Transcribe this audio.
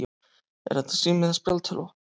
Er þetta sími eða spjaldtölva?